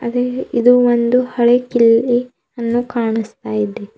ಅದೆ ಇದು ಒಂದು ಹಳೆ ಕಿಲ್ಲಿ ಅನ್ನು ಕಾಣಸ್ತಾ ಇದೆ.